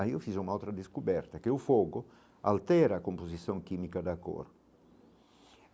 Aí eu fiz uma outra descoberta, que o fogo altera a composição química da cor.